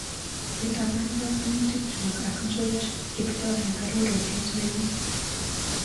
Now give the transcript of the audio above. Itapan panganutikchu ak George Kiptoo eng arouttiet nenyu.